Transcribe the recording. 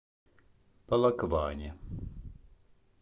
полокване